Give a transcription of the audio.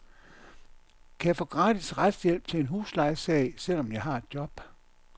Kan jeg få gratis retshjælp til en huslejesag, selv om jeg har job?